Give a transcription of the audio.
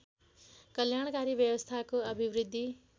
कल्याणकारी व्यवस्थाको अभिवृद्धि